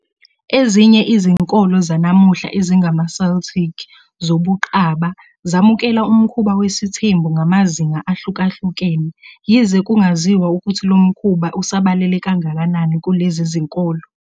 Ezinye izinkolo zanamuhla ezingamaCeltic zobuqaba zamukela umkhuba wesithembu ngamazinga ahlukahlukene, yize kungaziwa ukuthi lomkhuba usabalele kangakanani kulezi zinkolo.